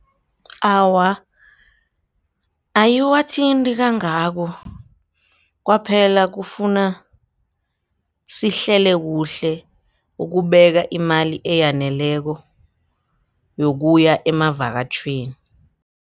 Awa, ayiwathinti kangako kwaphela kufuna sihlele kuhle ukubeka imali eyaneleko yokuya amavakatjhweni.